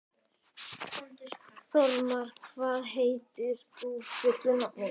Þormar, hvað heitir þú fullu nafni?